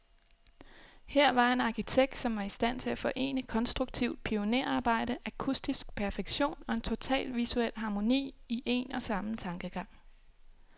Her var en arkitekt, som var i stand til at forene konstruktivt pionerarbejde, akustisk perfektion, og en total visuel harmoni, i en og samme tankegang.